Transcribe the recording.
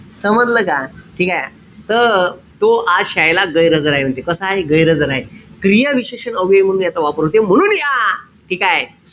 समजलं का? ठीकेय? त तो आज शायेला गैरहजर आहे म्हणते. कसा आहे? गैरहजर आहे. क्रियाविशेषण अव्यय म्हणून याचा वापर होते. म्हणून या ठीकेय?